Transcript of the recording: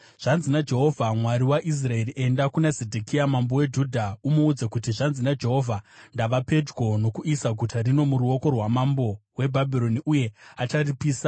“Zvanzi naJehovha, Mwari waIsraeri: Enda kuna Zedhekia mambo weJudha umuudze kuti, ‘Zvanzi naJehovha: Ndava pedyo nokuisa guta rino muruoko rwamambo weBhabhironi, uye acharipisa.